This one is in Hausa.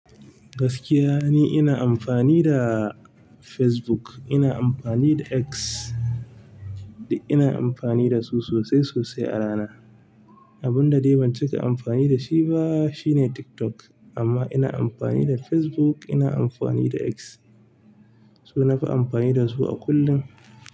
Gaskiya ni ina amfani da Facebook, ina amfani da X, ina amfani da su sosai sosai a rana. Abun da dai ban cika amfani da shi ba shine TikTok amma ina amfani da Facebook, ina amfani da X. To nafi amfani da su a kullum.